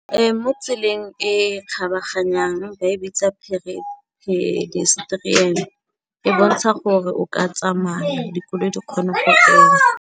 Ee, mo tseleng e kgabaganyang ba e bitsa pedestrian, e bontsha gore o ka tsamaya, dikolo di kgone go feta.